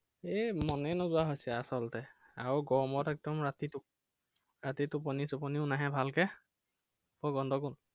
এৰ মনেই নোযোৱা হৈছে আচলতে। আৰু গৰমত একদম ৰাতি ৰাতি টোপনি চোপনিও নাহে ভালকে